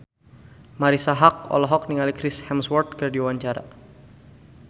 Marisa Haque olohok ningali Chris Hemsworth keur diwawancara